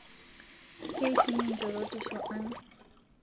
Keishunye njorotisho aang'